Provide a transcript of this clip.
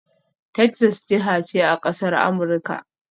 Texas jiha ce a ƙasar Amurika